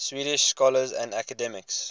swedish scholars and academics